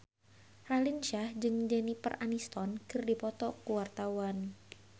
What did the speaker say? Raline Shah jeung Jennifer Aniston keur dipoto ku wartawan